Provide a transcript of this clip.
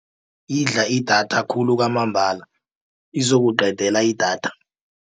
Idla idatha khulu kwamambala izokuqedela idatha.